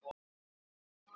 Komum inn!